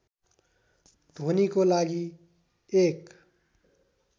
ध्वनिको लागि एक